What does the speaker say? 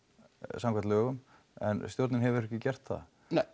samkvæmt lögum en stjórnin hefur ekki gert það